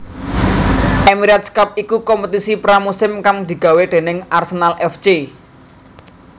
Emirates Cup iku kompetisi pra musim kang digawé déning Arsenal F C